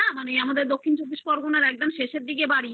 আমাদের দক্ষিণ চব্বিশ পরগনার একদম শেষের দিকে বাড়ি তো